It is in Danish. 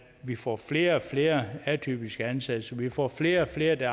vi får flere og flere atypiske ansættelser at vi får flere og flere der